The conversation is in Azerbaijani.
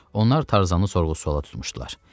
Onlar tarzanı sorğu-suvala tutmuşdular.